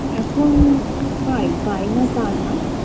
এখন পাই পাইনা তানা